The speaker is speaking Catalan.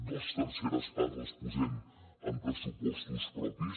dos terceres parts les posem amb pressupostos propis